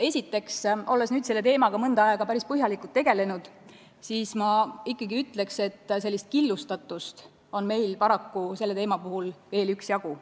Esiteks, olles nüüd selle teemaga mõnda aega päris põhjalikult tegelenud, ütlen ma, et killustatust on meil paraku selle teemaga tegelemisel veel üksjagu.